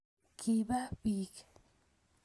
kiba biich